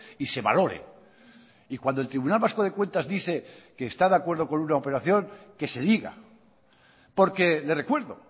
y se valore y cuando el tribunal vasco de cuentas dice que está de acuerdo con una operación que se diga porque le recuerdo